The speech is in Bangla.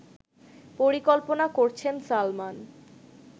পরিকল্পনা করছেন সালমান